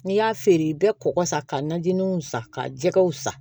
N'i y'a feere i bɛ kɔkɔ san ka najiniw san ka jɛgɛw san